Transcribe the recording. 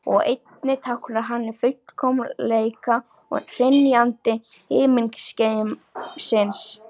Og einnig táknar hann fullkomleika og hrynjandi himingeimsins.